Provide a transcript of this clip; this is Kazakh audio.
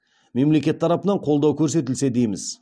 мемлекет тарапынан қолдау көрсетілсе дейміз